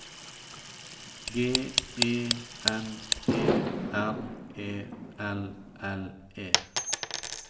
G E N E R E L L E